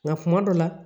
Nka kuma dɔw la